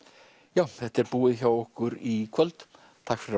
já þetta er búið hjá okkur í kvöld takk fyrir